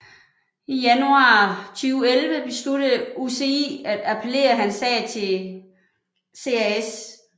I januar 2011 besluttede UCI at appellere hans sag til CAS